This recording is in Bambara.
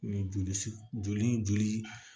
Ni joli joli